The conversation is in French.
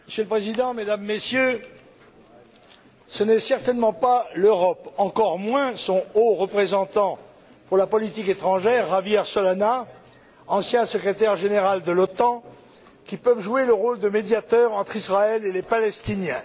Monsieur le Président, Mesdames, Messieurs, ce n'est certainement pas l'Europe, encore moins son Haut représentant pour la politique étrangère, Javier Solana, ancien Secrétaire général de l'OTAN, qui peuvent jouer le rôle de médiateur entre Israël et la Palestine.